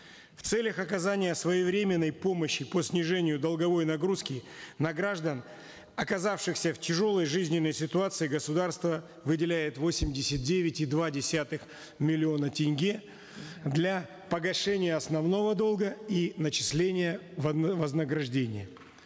в целях оказания своевременной помощи по снижению долговой нагрузки на граждан оказавшихся в тяжелой жизненной ситуации государство выделяет восемьдесят девять и два десятых миллиона тенге для погашения основного долга и начисления вознаграждения